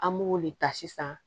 An b'o de ta sisan